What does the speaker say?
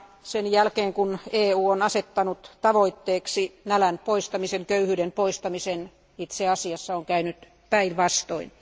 Sen jälkeen kun EU on asettanut tavoitteeksi nälän ja köyhyyden poistamisen, on itse asiassa käynyt päinvastoin.